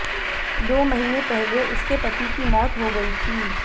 दो महीने पहले उसके पति की मौत हो गई थी